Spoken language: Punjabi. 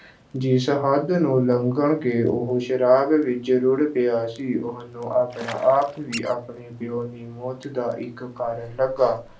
ਜਿਸ ਹੱਦ ਨੂੰ ਲੰਘ ਕੇ ਉਹ ਸ਼ਰਾਬ ਵਿੱਚ ਰੁੜ੍ਹ ਗਿਆ ਸੀ, ਉਹਨੂੰ ਆਪਣਾ ਆਪ ਵੀ ਆਪਣੇ ਪਿਉ ਦੀ ਮੌਤ ਦਾ ਇੱਕ ਕਾਰਨ ਲੱਗਾ।